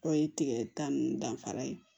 Dɔw ye tigɛ ta ninnu danfara ye